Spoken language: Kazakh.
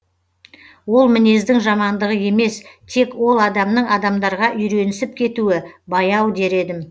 ол мінездің жамандығы емес тек ол адамның адамдарға үйренісіп кетуі баяу дер едім